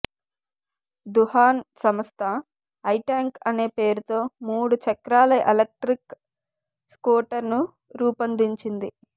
దుహాన్ సంస్థ ఐట్యాంక్ అనే పేరుతో మూడు చక్రాల ఎలక్ట్రిక్ స్కూటర్ను రూపొందించింది